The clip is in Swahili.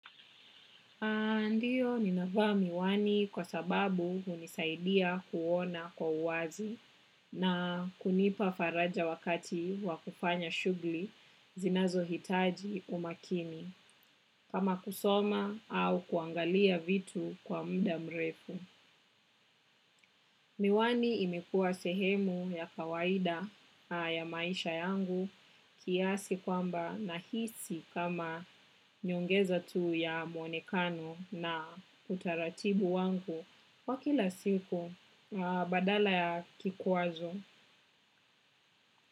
Ndiyo ninavaa miwani kwa sababu hunisaidia kuona kwa uwazi na kunipa faraja wakati wakufanya shugli zinazo hitaji umakini kama kusoma au kuangalia vitu kwa mda mrefu. Miwani imekua sehemu ya kawaida ya maisha yangu kiasi kwamba nahisi kama nyongeza tu ya mwonekano na utaratibu wangu wa kila siku badala ya kikwazo.